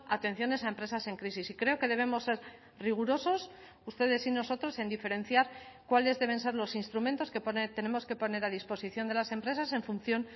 atenciones a empresas en crisis y creo que debemos ser rigurosos ustedes y nosotros en diferenciar cuáles deben ser los instrumentos que tenemos que poner a disposición de las empresas en función